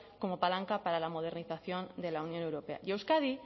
como palanca para la modernización de la unión europea y euskadi